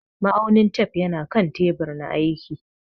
Ma'aunin tef yana kan teɓur na aiƙi.